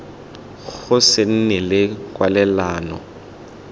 go se nne le kwalelano